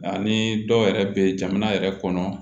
Ani dɔw yɛrɛ bɛ jamana yɛrɛ kɔnɔ